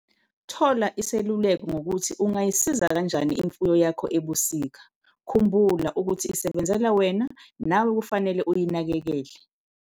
Thola iseluleko ngokuthi ungayisiza kanjani imfuyo yakho ebusika - khumbula ukuthi isebenzela wena nawe kufanele uyinakekele.